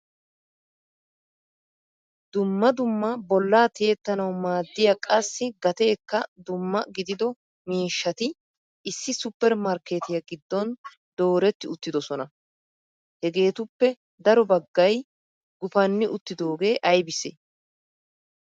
dumma dumma bolla tiyettanawu maaddiyaa qassi gateekka dumma gidido miishshati issi supper markketiya giddon dooreti uttidoosona. hegetuppe daro baggay gupanni uttidooge aybisse?